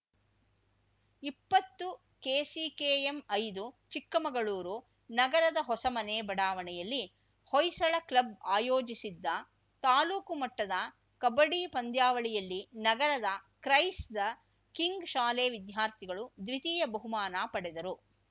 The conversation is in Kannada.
ಇಪ್ಪತ್ತು ಕೆಸಿಕೆಎಂ ಐದು ಚಿಕ್ಕಮಗಳೂರು ನಗರದ ಹೊಸಮನೆ ಬಡಾವಣೆಯಲ್ಲಿ ಹೊಯ್ಸಳ ಕ್ಲಬ್‌ ಆಯೋಜಿಸಿದ್ದ ತಾಲೂಕು ಮಟ್ಟದ ಕಬಡ್ಡಿ ಪಂದ್ಯಾವಳಿಯಲ್ಲಿ ನಗರದ ಕ್ರೈಸ್‌ ದ ಕಿಂಗ್‌ ಶಾಲೆ ವಿದ್ಯಾರ್ಥಿಗಳು ದ್ವಿತೀಯ ಬಹುಮಾನ ಪಡೆದರು